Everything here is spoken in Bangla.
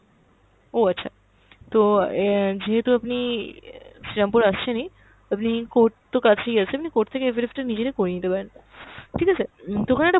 ও আচ্ছা, তো অ্যাঁ যেহেতু আপনি শ্রীরামপুর আসছেনই, আপনি court তো কাছেই আছে, আপনি court থেকে affidavit টা নিজেরাই করে নিতে পারেন, ঠিক আছে। তো ওখানে একটা